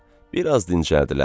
Bir az dincəldilər.